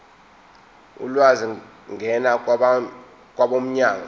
ulwazi ngena kwabomnyango